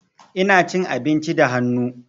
Ina cin abinci da hannu.